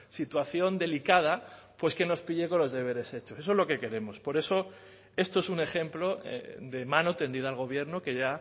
situación delicada que nos pille con los deberes hechos eso es lo que queremos por eso esto es un ejemplo de mano tendida al gobierno que ya